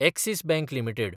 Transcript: axis bank limited